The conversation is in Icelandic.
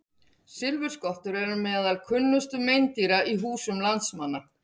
Silfurskottur eru meðal kunnustu meindýra í húsum landsmanna.